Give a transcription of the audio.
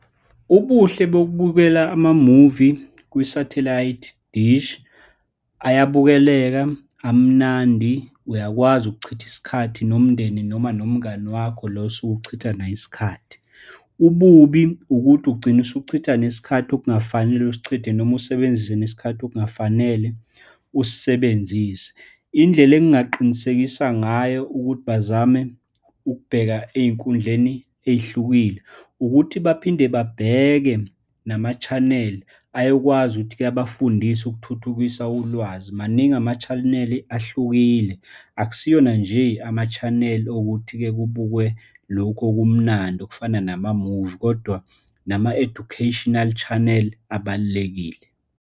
Ubuhle bokubukela amamuvi kwisathelayithi dish, ayabukeleka, amnandi, uyakwazi ukuchitha isikhathi nomndeni, noma nomngani wakho lo osuke uchitha naye isikhathi. Ububi ukuthi ugcine usuchitha nesikhathi okungafanele usichithe noma usebenzise nesikhathi okungafanele usisebenzise. Indlela engaqinisekisa ngayo ukuthi bazame ukubheka ey'nkundleni ey'hlukile, ukuthi baphinde babheke nama-channel ayokwazi ukuthi-ke abafundise ukuthuthukisa ulwazi. Maningi ama-channel ahlukile, akusiwona nje ama-channel owukuthi-ke kubukwe lokhu okumnandi, okufana namamuvi, kodwa nama-educational channel abalulekile.